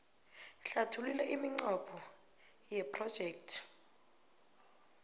hlathulula iminqopho yephrojekthi